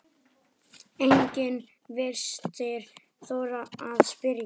Enginn virtist þora að spyrja